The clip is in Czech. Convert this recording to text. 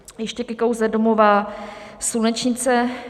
Ještě ke kauze domova Slunečnice.